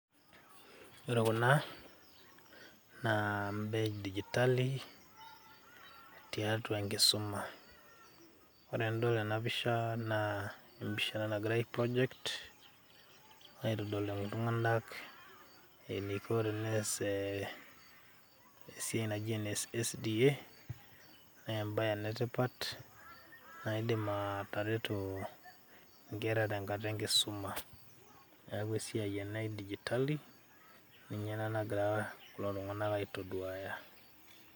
Ore kuna naa imbaa e dijitali tiatua enkisuma, ore enidol tena pisha naa empisha ena nagirai ai project aitodol iltung'anak eniko tenes esiai naijo ene SDA nee embeye ena e tipat naidim ataretu nkera tenkata enkisuma. Neeku esiai ena e dijitali ninye ena nagira kulo tung'anak aitoduaya.